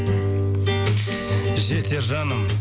жетер жаным